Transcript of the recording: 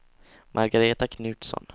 Margareta Knutsson